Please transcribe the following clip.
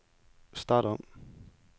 start om